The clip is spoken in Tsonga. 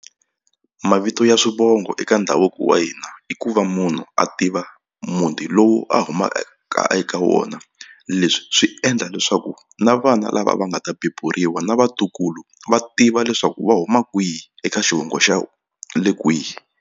Mavito ya swivongo eka ndhavuko wa hina i ku va munhu a tiva muti lowu a humaka eka wona leswi swi endla leswaku na vana lava va nga ta beburiwa na vatukulu va tiva leswaku va huma kwihi eka xivongo xa le kwihi.